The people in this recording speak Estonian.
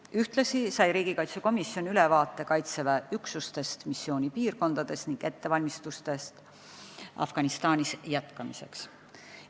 Ühtlasi sai riigikaitsekomisjon ülevaate Kaitseväe üksustest missioonipiirkondades ning ettevalmistustest Afganistanis jätkamiseks.